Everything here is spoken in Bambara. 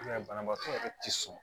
I b'a ye banabaatɔ yɛrɛ tɛ sɔn